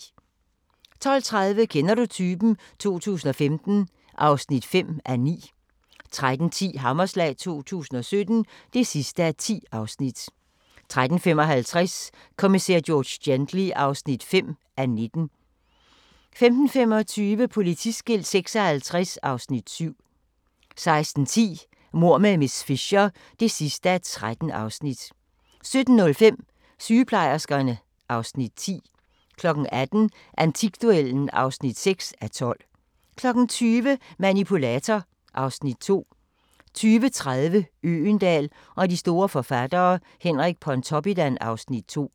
12:30: Kender du typen? 2015 (5:9) 13:10: Hammerslag 2017 (10:10) 13:55: Kommissær George Gently (5:19) 15:25: Politiskilt 56 (Afs. 7) 16:10: Mord med miss Fisher (13:13) 17:05: Sygeplejerskerne (Afs. 10) 18:00: Antikduellen (6:12) 20:00: Manipulator (Afs. 2) 20:30: Øgendahl og de store forfattere: Henrik Pontoppidan (Afs. 2)